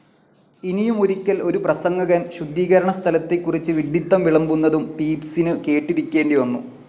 ഇനിയുമൊരിക്കൽ ഒരു പ്രസംഗകൻ ശുദ്ധീകണസ്ഥലത്തെക്കുറിച്ച് വിഢിത്തം വിളമ്പുന്നതും പീപ്സിനു കേട്ടിരിക്കേണ്ടി വന്നു.